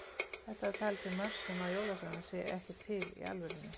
Þetta er talið til marks um að jólasveinar séu ekki til í alvörunni.